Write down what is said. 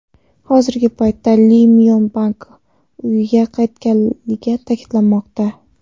Hozirgi paytda Li Myon Bak uyiga qaytganligi ta’kidlanmoqda.